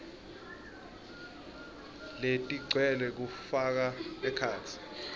letigcwele kufaka ekhatsi